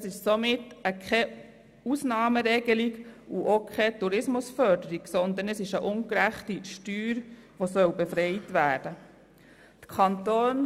Es geht nicht um eine Ausnahmeregelung und auch nicht um Tourismusförderung, sondern um eine ungerechte Steuer, von der befreit werden soll.